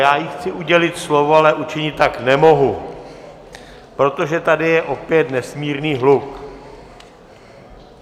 Já jí chci udělit slovo, ale učinit tak nemohu, protože tady je opět nesmírný hluk.